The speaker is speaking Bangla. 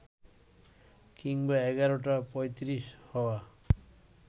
কিংবা এগারোটা পঁয়ত্রিশ হওয়া